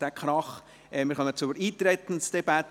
Wir kommen zur Eintretensdebatte.